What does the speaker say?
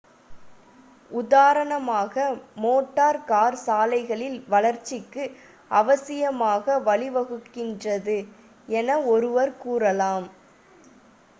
உதாரணமாக motor car சாலைகளின் வளர்ச்சிக்கு அவசியமாக வழிவகுக்கின்றது என ஒருவர் கூறலாம்